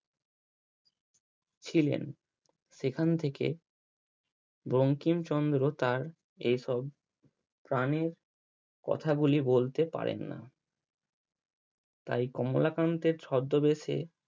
ছিলেন সেখান থেকে বঙ্কিমচন্দ্র তার এসব প্রানের কথা গুলি বলতে পারেন না। তাই কমলাকান্তের ছদ্দবেশে